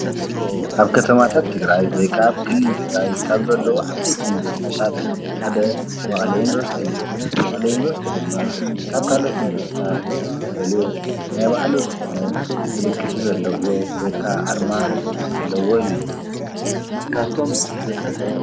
ኣብ ከተማታት ትግራይ ወይ ከዓ አብ ክልል ትግራይ ካብ ዘለዎ ዓበይቲ ዩኒቨርስታት ሓደ መቀለ ዩኒቨርስቲ እዩ፡፡ መቀለ ዩኒቨርስቲ ድማ ካብ ካለኦት ዩኒቨርስታት ዝፈልዮ ናይ በዓሉ ዝኮነ ምልክት ዘለዎ ወይ ከዓ ኣርማ ኣለዎ እዩ፡፡